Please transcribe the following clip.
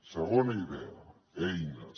segona idea eines